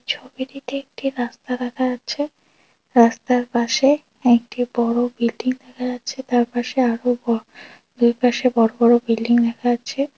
ছবিটিতে একটি রাস্তা দেখা যাচ্ছে রাস্তার পাশে একটি বড়ো বিল্ডিং দেখা যাচ্ছে তার পাশে আরও বড়ো দুই পাশে বড়ো বড়ো বিল্ডিং দেখা যাচ্ছে।